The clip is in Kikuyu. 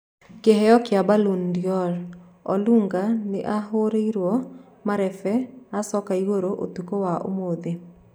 Kĩheo kĩa Ballon d'or, Olunga nĩahũreirwo marebe acoke igũrũ ũtukũ wa ũmũthĩ